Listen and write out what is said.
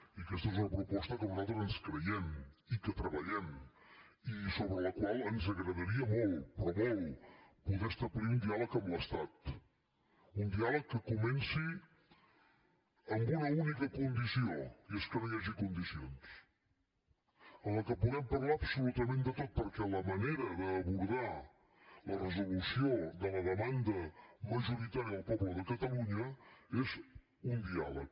i aquesta és una proposta que nosaltres ens creiem i que treballem i sobre la qual ens agradaria molt però molt poder establir un diàleg amb l’estat un diàleg que comenci amb una única condició i és que no hi hagi condicions en què puguem parlar absolutament de tot perquè la manera d’abordar la resolució de la demanda majoritària del poble de catalunya és un diàleg